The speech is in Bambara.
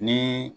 Ni